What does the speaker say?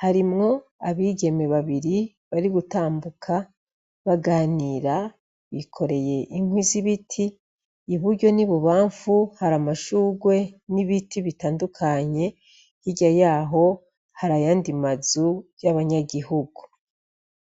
harimwo abigeme babiri bari gutambuka baganira bikoreye inkwi z'ibiti iburyo ni bubamfu hari amashurwe n'ibiti bitandukanye hirya yaho hari yandi mazu y'abanyagihugu.